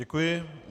Děkuji.